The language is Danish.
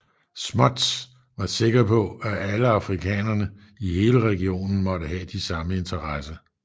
Smuts var sikker på at alle afrikanerne i hele regionen måtte have de samme interesse